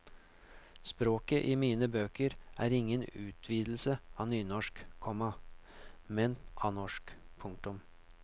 Språket i mine bøker er ingen utvidelse av nynorsk, komma men av norsk. punktum